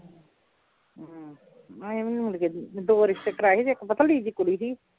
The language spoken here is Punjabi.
ਹਾਂ ਐਵੇਂ ਹੀ ਮੁੜ ਗਏ ਸੀ ਦੋ ਰਿਸ਼ਤੇ ਕਰਾਏ ਸੀ ਇੱਕ ਪਤਲੀ ਜਿਹੀ ਕੁੜੀ ਸੀ